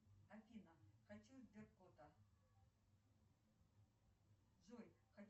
джой хотела бы записаться в салон красоты на стрижку